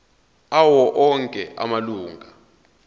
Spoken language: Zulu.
awo onke amalunga